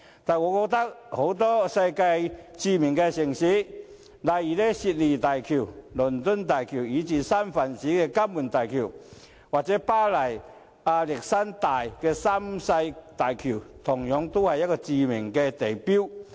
但是，我認為世界很多著名城市的大橋，例如悉尼大橋、倫敦大橋，以至三藩市的金門大橋或巴黎亞歷山大三世大橋，都是著名地標。